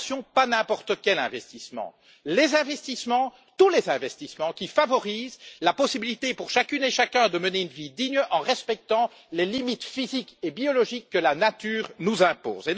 Mais attention, pas n'importe quel investissement tous les investissements qui favorisent la possibilité pour chacune et chacun de mener une vie digne en respectant les limites physiques et biologiques que la nature nous impose.